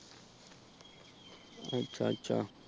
ਅੱਛਾ-ਅੱਛਾ।